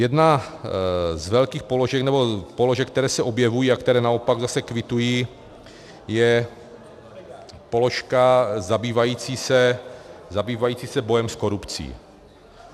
Jedna z velkých položek, nebo položek, které se objevují a které naopak zase kvituji, je položka zabývající se bojem s korupcí.